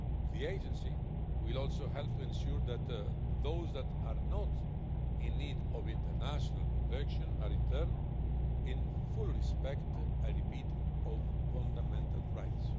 The Agency will also help to ensure that those that are not in need of international protection are returned in full respect, I repeat, of fundamental rights.